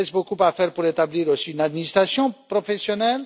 Il reste beaucoup à faire pour établir aussi une administration professionnelle.